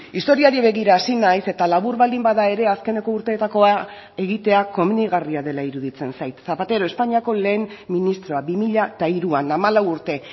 historiari begira hasi naiz eta labur baldin bada ere azkeneko urteetakoa egitea komenigarria dela iruditzen zait zapatero espainiako lehen ministroa bi mila hiruan hamalau urte